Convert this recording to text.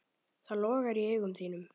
Það logar í augum þínum.